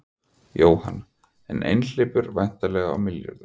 Jóhann: En hleypur væntanlega á milljörðum?